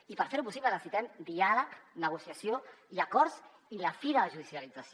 i per fer ho possible necessitem diàleg negociació i acords i la fi de la judicialització